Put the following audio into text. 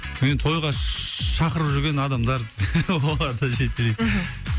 мені тойға шақырып жүрген адамдар олар да жетелейді мхм